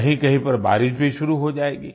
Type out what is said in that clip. कहींकहीं पर बारिश भी शुरू हो जाएगी